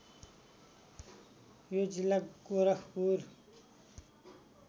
यो जिल्ला गोरखपुर